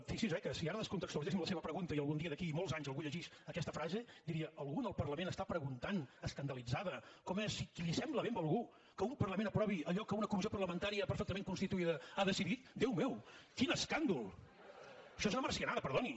fixi’s eh que si ara descontextualitzéssim la seva pregunta i algun dia d’aquí a molts anys algú llegís aquesta frase diria algú en el parlament està preguntant escandalitzada com és si li sembla bé a algú que un parlament aprovi allò que una comissió parlamentària perfectament constituïda ha decidit déu meu quin escàndol això és una marcianada perdoni